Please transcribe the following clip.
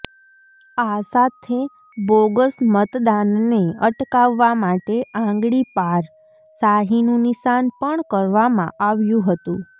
આ સાથે બોગસ મતદાનને અટકાવવા માટે આંગળી પાર શાહીનું નિશાન પણ કરવામાં આવ્યું હતું